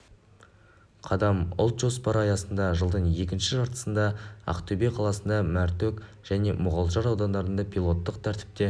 қадам ұлт жоспары аясында жылдың екінші жартысында ақтөбе қаласында мәртөк және мұғалжар аудандарында пилоттық тәртіпте